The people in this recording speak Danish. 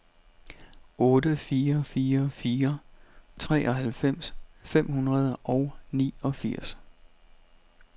otte fire fire fire treoghalvfems fem hundrede og niogfirs